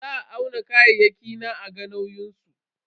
Za a auna kayayyaki na a ga nauyin su.